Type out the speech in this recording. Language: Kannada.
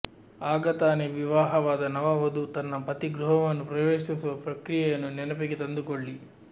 ಆಗ ತಾನೇ ವಿವಾಹವಾದ ನವ ವಧು ತನ್ನ ಪತಿ ಗೃಹವನ್ನು ಪ್ರವೇಶಿಸುವ ಪ್ರಕ್ರಿಯೆಯನ್ನು ನೆನಪಿಗೆ ತಂದುಕೊಳ್ಳಿ